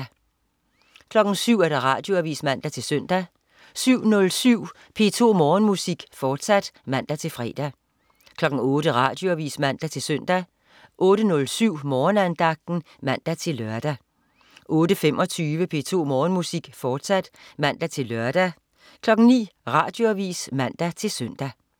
07.00 Radioavis (man-søn) 07.07 P2 Morgenmusik, fortsat (man-fre) 08.00 Radioavis (man-søn) 08.07 Morgenandagten (man-lør) 08.25 P2 Morgenmusik, fortsat (man-lør) 09.00 Radioavis (man-søn)